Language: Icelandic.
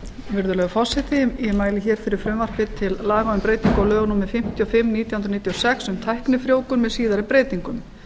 virðulegur forseti ég mæli hér fyrir frumvarpi til laga um breytingu á lögum númer fimmtíu og fimm nítján hundruð níutíu og sex um tæknifrjóvgun með síðari breytingum